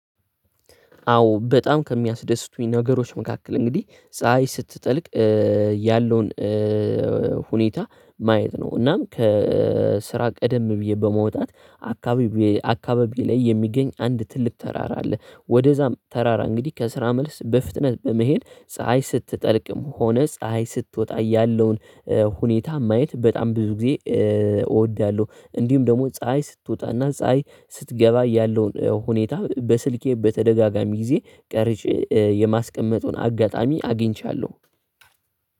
አዎ በጣም ከሚያስደስቱኝ ነገሮች መካከል እንግዲህ ፀሀይ ስትጠልቅ ያለውን ሁኔታ ማየት ነው እናም ከስራ ቀደም ብዬ በመውጣት አካባቢ አካባቢዬ ላይ የሚገኝ አንድ ትልቅ ተራራ አለ ወደዛም ተራራ እንግዲህ ከስራ መልስ በፍጥነት በመሄድ ፀሀይ ስትጠልቅም ሆነ ፀሀይ ስትወጣ ያለውን ሁኔታ ማየት በጣም ብዙ ጊዜ እወዳለሁ። እንዲሁም ደግሞ ፀሀይ ስትወጣና ፀሀይ ስትገባ ያለውን ሁኔታ በስልኬ በተደጋጋሚ ጊዜ ቀርጬ የማስቀመጡን አጋጣሚ አግኝቻለሁ።